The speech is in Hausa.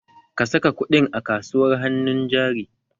Ka saka kuɗin a kasuwar hannun jari!